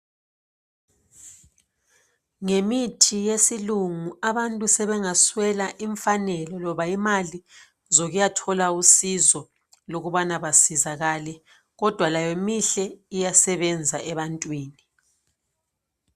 Ngemithi yesilungu abantu sebengaswela imfanelo loba imali zokuyathola usizo ukuba basizakale kodwa layo mihle iyasebenza ebantwini.